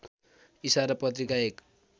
इशारा पत्रिका एक